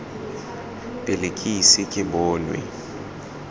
pele ke ise ke bonwe